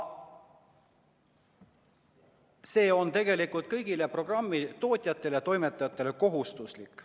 See on kõigile programmi tootjatele ja toimetajatele kohustuslik.